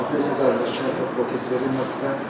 Hökmə apellyasiya qaydasında şikayət və protest verilə bilər.